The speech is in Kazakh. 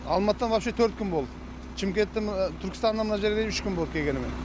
алматыдан вообще төрт күн болды түркістаннан мына жерге дейін үш күн болады келгеніме